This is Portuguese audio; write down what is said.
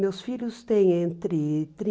Meus filhos têm entre